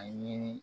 A ɲini